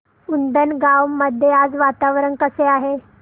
उंडणगांव मध्ये आज वातावरण कसे आहे